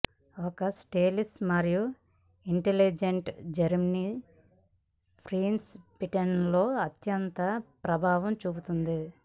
ఒక స్టైలిష్ మరియు intelligent German prince బ్రిటన్లో అత్యంత ప్రభావం చూపింది